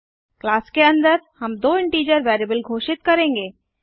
class के अन्दर हम दो इंटीजर वेरिएबल घोषित करेंगे